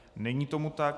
Není tomu tak.